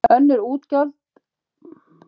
Önnur útgjöld má alla jafna ekki draga frá tekjum.